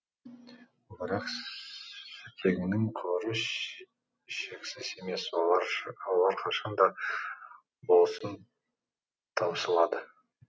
бірақ сутегінің қоры шексіз емес олар қашан да болсын таусылады